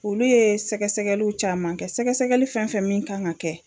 Olu ye sɛgɛsɛgɛliw caman kɛ sɛgɛsɛgɛli fɛn fɛn min kan ka kɛ.